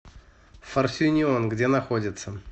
форсюнион где находится